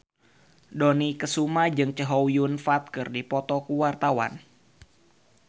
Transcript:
Dony Kesuma jeung Chow Yun Fat keur dipoto ku wartawan